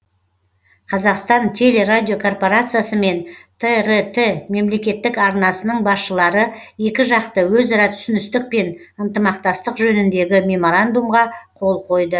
қазақстан телерадиокорпорациясы мен трт мемлекеттік арнасының басшылары екіжақты өзара түсіністік пен ынтымақтастық жөніндегі меморандумға қол қойды